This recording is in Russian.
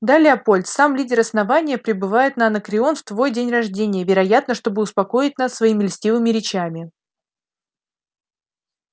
да лепольд сам лидер основания прибывает на анакреон в твой день рождения вероятно чтобы успокоить нас своими льстивыми речами